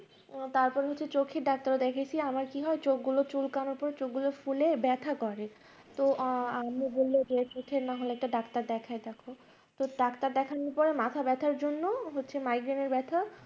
তার পর হচ্ছে চোখের ডাক্তার দেখিয়েছি আমার কি হয় চোখগুলো চুল কানিতে চোখগুলো ফুলে ব্যথা করে তো আম্মু বলল যে চোখের না হলে একটা ডাক্তার দেখায় দেখ তো ডাক্তার দেখানো যায় মাথা ব্যথার জন্য হচ্ছে migraine এর ব্যথা